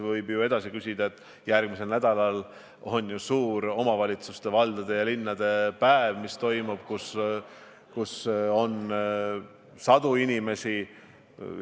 Võib ju edasi küsida, et järgmisel nädalal on suur omavalitsuste, valdade ja linnade päev, kus osaleb sadu inimesi.